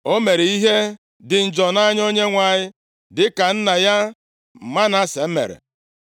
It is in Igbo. O mere ihe dị njọ nʼanya Onyenwe anyị dịka nna ya Manase mere.